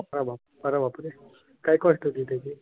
अरे वाह! अरे बापरे काय कोस्ट होती त्याची?